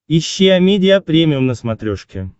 ищи амедиа премиум на смотрешке